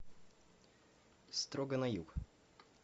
строго на юг